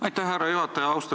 Aitäh, härra juhataja!